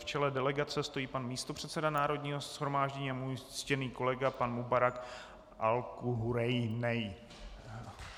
V čele delegace stojí pan místopředseda Národního shromáždění a můj ctěný kolega pan Mubarak Alkhurainej.